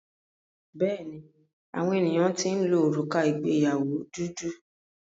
Bẹ́ẹ̀ni, àwọn ènìyàn ti ń lo òrùka ìgbéyàwó dúdú.